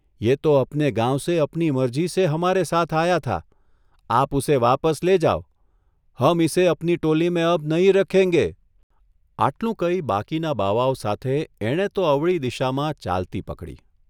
યે તો અપને ગાંવસે અપની મરજીસે હમારે સાથ આયા થા, આપ ઉસે વાપસ લે જાઓ, હમ ઇસે અપની ટોલીમેં અબ નહીં રખેંગે 'આટલુ કહી બાકીના બાવાઓ સાથે એણે તો અવળી દિશામાં ચાલતી પકડી.